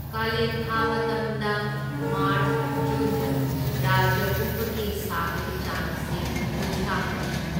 ꯀꯥꯂꯦꯟ ꯊꯥ ꯃꯇꯝꯗ ꯃꯥꯔꯆ, ꯖꯨꯟꯗ ꯔꯥꯖ꯭ꯌ ꯄꯨꯝꯕꯒꯤ ꯁꯥꯕꯒꯤ ꯆꯥꯡ ꯑꯁꯤ ꯀꯨꯟꯊ꯭ꯔꯥ ꯃꯔꯤꯅꯤ꯫